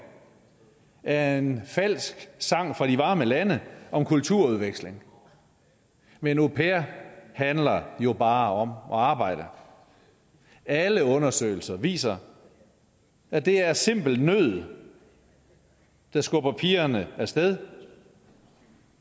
er en falsk sang fra de varme lande om kulturudveksling men au pair handler jo bare om at arbejde alle undersøgelser viser at det er simpel nød der skubber pigerne af sted